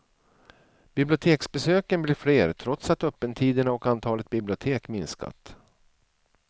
Biblioteksbesöken blir fler trots att öppettiderna och antalet bibliotek minskat.